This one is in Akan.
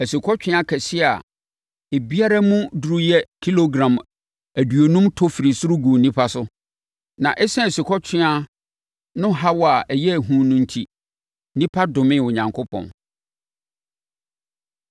Asukɔtweaa kɛseɛ a ebiara mu duru yɛ kilogram aduonum tɔ firii soro guu nnipa so. Na ɛsiane asukɔtweaa no haw a na ɛyɛ hu no enti, nnipa domee Onyankopɔn.